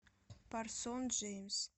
парсон джеймс